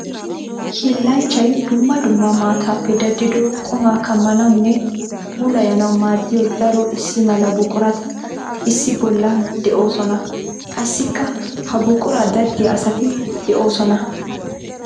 Hiillanchchay dumma dumma maatappe daddido quma kammanawunne puulayannawu maadiya daro issi mala buquratti issi bolla de'osonna. Qassikka ha buqura daddiya asatti de'osonna.